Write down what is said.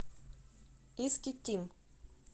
искитим